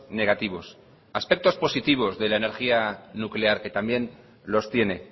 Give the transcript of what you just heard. negativos aspectos positivos de la energía nuclear que también los tiene